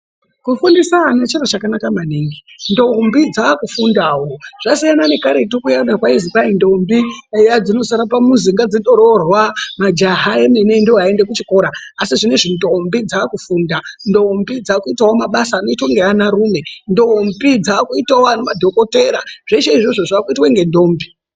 Ku fundisa ana chiro chakanaka maningi ndombi dzaku fundawo zvasiyana ne karetu kuyana kwaizi kwai ndombi eya dzinosara pa muzi nga dzindo rorwa majaha emene ndo ayi enda ku chikora asi zvinezvi ndombi dzaku funda ndombi dzaku itawo mabasa anoitwa nge ana rume ndombi dzakuitawo madhokotera zveshe izvozvo zvakuitwe nge ndombi.